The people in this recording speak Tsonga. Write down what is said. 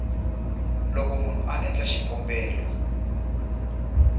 loko munhu a endla xikombelo